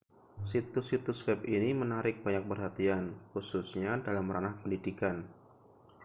situs-situs web ini menarik banyak perhatian khususnya dalam ranah pendidikan